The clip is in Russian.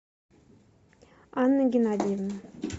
анны геннадиевны